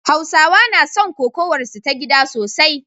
Hausawa na son kokawarsu ta gida sosai